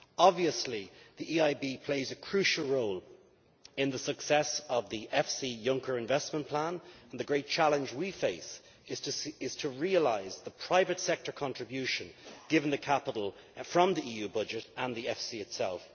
Obviously the EIB plays a crucial role in the success of the EFSI Juncker Investment Plan, and the great challenge we face is to realise the private sector contribution, given the capital from the EU budget and the EFSI itself.